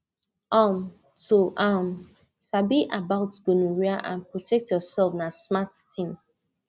um to um sabi about gonorrhea and protect yourself na smart thing